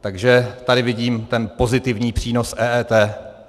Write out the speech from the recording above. Takže tady vidím ten pozitivní přínos EET.